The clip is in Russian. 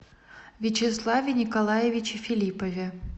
вячеславе николаевиче филиппове